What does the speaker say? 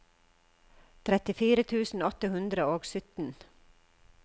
trettifire tusen åtte hundre og sytten